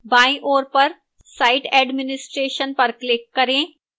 बाईं ओर पर site administration पर click करें